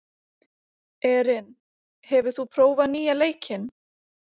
Erin, hefur þú prófað nýja leikinn?